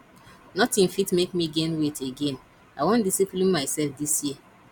nothing fit make me gain weight again i wan discipline myself dis year